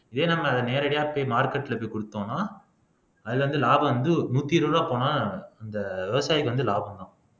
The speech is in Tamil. இதே நம்ம அதை நேரடியா போய் market ல போய் குடுத்தோம்ன்னா அதுல வந்து லாபம் வந்து நூத்தி இருபது ரூபாய் போனா அந்த விவசாயிக்கு வந்து லாபம்தான்